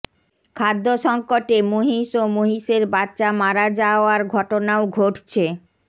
খাদ্য সংকটে মহিষ ও মহিষের বাচ্চা মারা যাওয়ার ঘটনাও ঘটছে